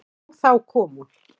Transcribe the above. Og þá kom hún.